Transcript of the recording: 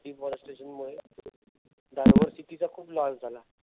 deforestation मुळे diversity चा खूप loss झाला.